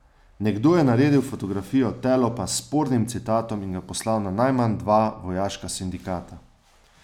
Nekdo je naredil fotografijo telopa s spornim citatom in ga poslal na najmanj dva vojaška sindikata.